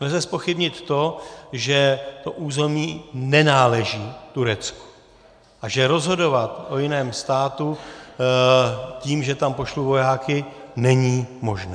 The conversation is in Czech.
Nelze zpochybnit to, že to území nenáleží Turecku a že rozhodovat o jiném státu tím, že tam pošlu vojáky, není možné.